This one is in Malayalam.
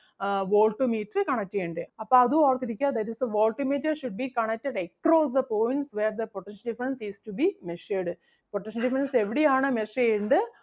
ആഹ് voltmeter connect ചെയ്യണ്ടേ. അപ്പം അതും ഓർത്തു ഇരിക്കുക that is the voltmeter should be connected across the points where the potential difference is to be measured. potential difference എവിടെയാണോ measure ചെയ്യണ്ടേ,